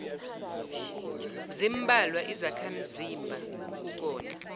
zimbalwa izakhamzimba kukona